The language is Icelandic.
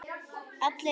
Allir jafnir.